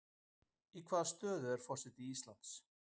Í hvaða stöðu er forseti Íslands?